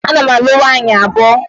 Ee, ana m alụ nwaanyị abụọ